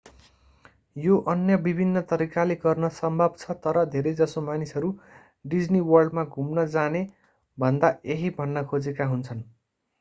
यो अन्य विभिन्न तरिकाले गर्न सम्भव छ तर धेरैजसो मानिसहरू डिज्नी वर्ल्डमा घुम्न जाने भन्दा यही भन्न खोजेका हुन्छन्